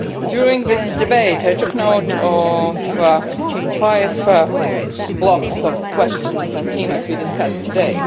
During this debate I took note of five blocks of questions on themes we discussed today.